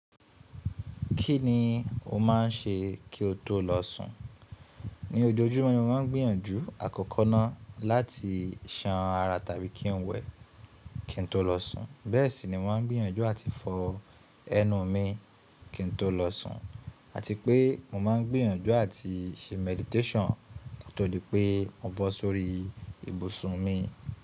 Kí ni o máà ń ṣe kí o tó lọ sùn? Ni ojoojúmọ́ ni mo máa ń gbìyànjú àkókọ náà láti san ara tàbí kí n wẹ̀ kí n tó lọ sùn, bẹ́ẹ̀ sì ni mo máa ń gbìyànjú àti fọ ẹnu mi kí n tó lọ sùn àti pé mo máa ń gbìyànjú àti se meditation ko tó dì pé mo bọ́ sórí ibùsùn mi.